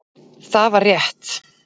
Það var rétt.